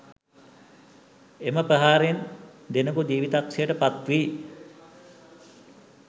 එම ප්‍රහාරයෙන් දෙනකු ජීවිතක්ෂයට පත් වී